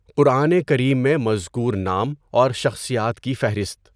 قرآن کریم میں مذکور نام اور شخصیات کی فہرست